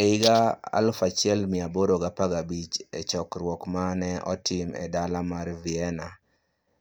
E higa 1815, e chokruok ma ne otim e dala mar Vienna,